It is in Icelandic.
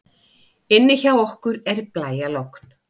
Inni hjá okkur er blæjalogn.